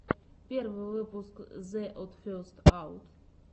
первый выпуск зе од фестс аут